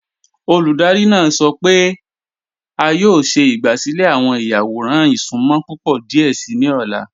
Olúdárì náà sọ́ pẹ̀ẹ̀ è a yọ̀ọ̀ ṣẹ̀ ìgbàsílẹ̀ awọn ìyàwọ̀ràn ìṣùnmọ̀ púpọ̀ díẹ̀ sí ni ọ̀la.